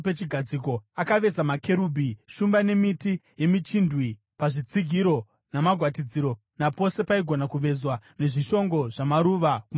Akaveza makerubhi, shumba nemiti yemichindwe pazvitsigiro namagwatidziro, napose paigona kuvezwa, nezvishongo zvamaruva kumativi ose.